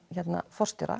forstjóra